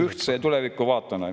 … ühtse tulevikuvaatega.